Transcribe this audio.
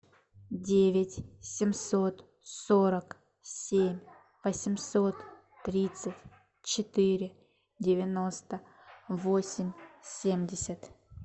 девять семьсот сорок семь восемьсот тридцать четыре девяносто восемь семьдесят